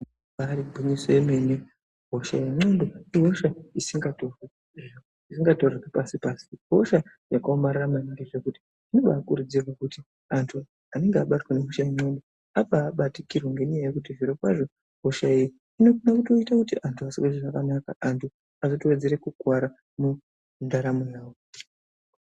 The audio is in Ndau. Ibaari gwinyiso yemene, hosha yendxondo ihosha isingatorerwi pasi pasi, ihosha yakaomarara maningi zvekuti zvinokurudzirwa kuti antu anenge abatwa nehosha yendxondo ambaabatikirwa ngenyaya yekuti zvirokwazvo hosha iyi inokona kutoite kuti antu asazwa zvakanaka, antu azotowedzere kukuwara mundaramo yavo.